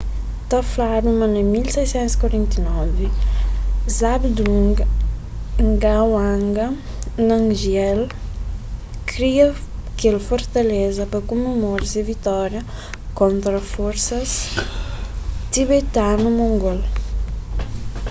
ta fladu ma na 1649 zhabdrung ngawang namgyel kria kel fortaleza pa kumemora se vitória kontra forsas tibetanu-mongol